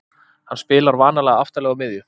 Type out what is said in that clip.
Hann spilar vanalega aftarlega á miðju.